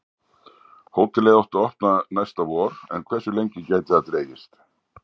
Hótelið átti að opna næsta vor en hversu lengi gæti það dregist?